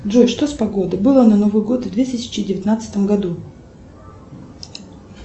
джой что с погодой было на новый год в две тысячи девятнадцатом году